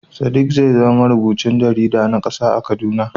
Sadiq zai zama marubucin jarida na kasa a Kaduna.